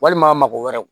Walima mago wɛrɛ